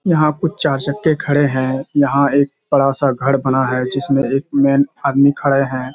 यहाँ पर चार चक्‍के खड़े हैं। यहाँ एक बड़ा सा घर बना है जिसमें एक मेन आदमी खड़े हैं।